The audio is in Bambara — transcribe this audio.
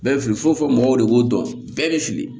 Bɛɛ bɛ fili fo fɔ mɔgɔw de b'o dɔn bɛɛ bɛ fili